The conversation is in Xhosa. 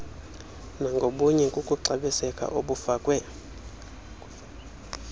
nangobunye kukuxabiseka obufakwe